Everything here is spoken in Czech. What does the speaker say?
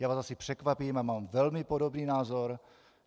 Já vás asi překvapím, já mám velmi podobný názor.